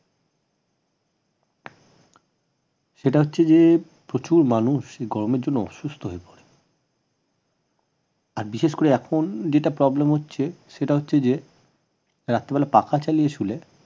সেটা হচ্ছে যে প্রচুর মানুষ গরমের জন্য অসুস্থ হয়ে পড়ছে আর বিশেষ করে এখন যেটা problem হচ্ছে সেটা হচ্ছে যে রাত্রে বেলা পাখা চালিয়ে শুলে